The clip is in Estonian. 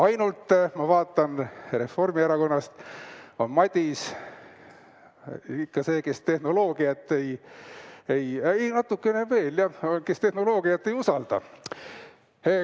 Ainult, ma vaatan, Reformierakonnast on Madis ikka see, kes tehnoloogiat natukene veel ei usalda.